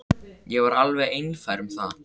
Ég var alveg einfær um það.